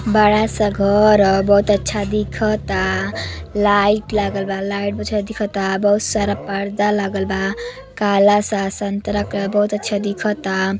बड़ा सा घर ह। बहोत अच्छा दिखता। लाइट लागल बा। लाइट दिखता। बहुत सारा पर्दा लागल बा। काला सा संतरा कलर बहुत अच्छा दिखता।